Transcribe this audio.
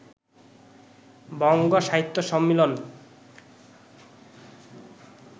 বঙ্গ সাহিত্য সম্মিলন